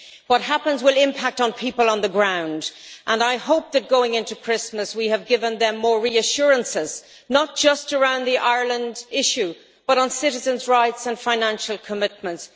What happens will impact on people on the ground, and I hope that going into Christmas we have given them more reassurances, not just around the Ireland issue, but on citizens' rights and financial commitments.